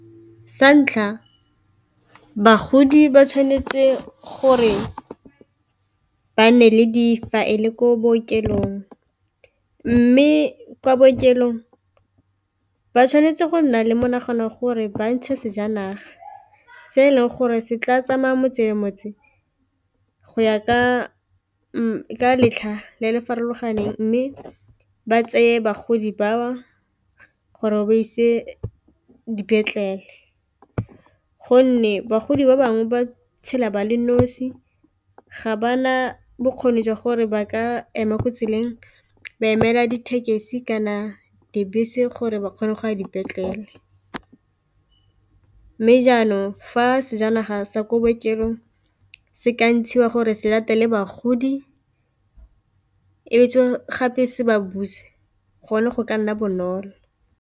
Sa ntlha bagodi ba tshwanetse gore ba nne le difaele ko bookelong, mme kwa bookelong ba tshwanetse go nna le monagano gore ba ntshe sejanaga se e leng gore se tla tsamaye motse le motse go ya ka letlha la le farologaneng mme ba tseye bagodi ba gore o ba ise dipetlele, gonne bagodi ba bangwe ba tshela ba le nosi ga ba na bokgoni jwa gore ba ka ema mo tseleng ba emela ditekesi kana dibese gore ba kgone go a dipetlele, mme jaanong fa sejanaga sa ko bookelong se ka ntshiwa gore se latele bagodi e be tswa gape se ba buse gone go ka nna bonolo.